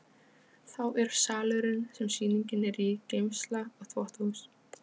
Þá er salurinn sem sýningin er í, geymsla og þvottahús.